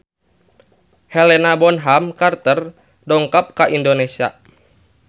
Helena Bonham Carter dongkap ka Indonesia